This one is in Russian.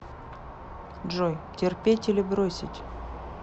джой терпеть или бросить